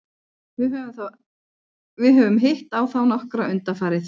Við höfum hitt á þá nokkra undanfarið.